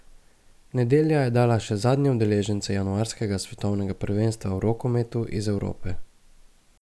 Nedelja je dala še zadnje udeležence januarskega svetovnega prvenstva v rokometu iz Evrope.